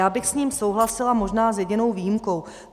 Já bych s ním souhlasila možná s jedinou výjimkou.